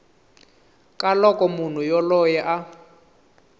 ka loko munhu yoloye a